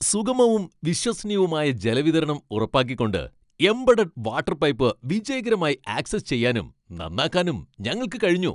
സുഗമവും വിശ്വസനീയവുമായ ജലവിതരണം ഉറപ്പാക്കിക്കൊണ്ട്, എംബഡഡ് വാട്ടർ പൈപ്പ് വിജയകരമായി ആക്സസ് ചെയ്യാനും, നന്നാക്കാനും ഞങ്ങൾക്ക് കഴിഞ്ഞു.